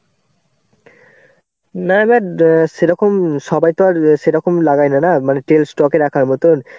না না সেরকম সবাই তো আর সেরকম লাগায় না না. মানে তেল stock এ রাখার মতন.